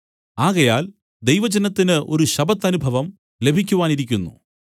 ആകയാൽ ദൈവജനത്തിന് ഒരു ശബ്ബത്തനുഭവം ലഭിക്കുവാനിരിക്കുന്നു